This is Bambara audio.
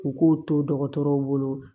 U k'u to dɔgɔtɔrɔw bolo